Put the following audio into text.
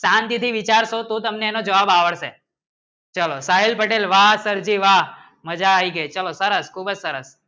ચાંદવિધિ ને તો હમને જવાબ આવડે છે ચલો સાહિલ પટેલ વાહ સિરજી વાહ ચલો સરસ ખૂબચ સરસ